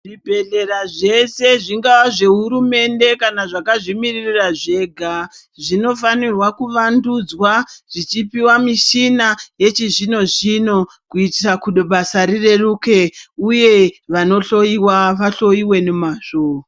Zvibhedhlera zveshe zvingaa zvehurumende kana zvakazvimirira zvega, zvinofanirwa kuvandudzwa zvichipiwa michina yechizvino zvino kuitira basa rireruke. Uye vanohloiwa vahloiwe nemazvo.